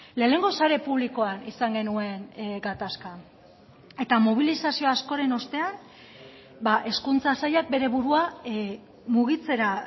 lehenengo sare publikoan izan genuen gatazka eta mobilizazio askoren ostean hezkuntza sailak bere burua mugitzera